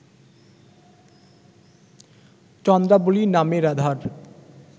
চন্দ্রাবলী নামে রাধার